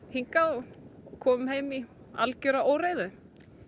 hingað og komum heim í algjöra óreiðu